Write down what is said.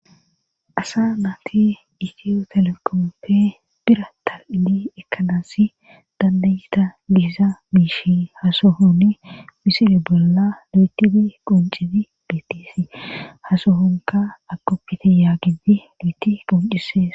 Asa naati itiyo telekomoppe bira ta7ini ekkanassi dandayita bihiza miishi hasohonni misili bolla duetifi qoncifi bittis ha sohonka akoppite yaagidi duyti qoncisees.